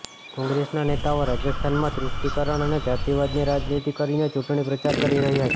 કોંગ્રેસના નેતાઓ રાજસ્થાનમાં તુષ્ટિકરણ અને જાતિવાદની રાજનીતિ કરીને ચૂંટણી પ્રચાર કરી રહ્યા છે